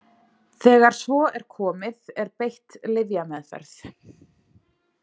Þegar svo er komið er beitt lyfjameðferð.